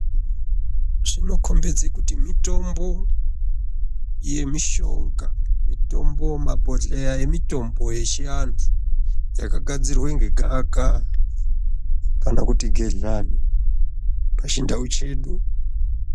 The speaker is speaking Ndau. Zvinokombidze kuti mitombo yemushonga mitombo mabhodhleya emutombo yechiantu yakagadzirwe ngegaa kaa kana kuti gehlani pachindau chedu.